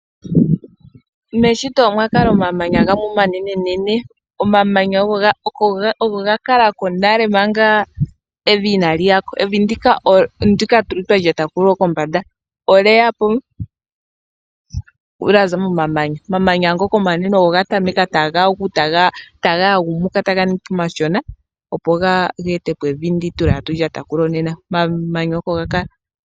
Meshito omwa kala omamanya gamwe omanenenene, omamanya ogo ga kala ko nale manga evi inaali ya ko. Evi ndika twa lyata kulyo kombanda olye ya po lya za momamanya. Omamanya ngoka omanene ogo ga tameka taga gu, taga yagumuka taga ningi po omamanya omashona, opo ge ete po evi ndika tatu lyata kulyo nena. Omamamanya oko ga kala.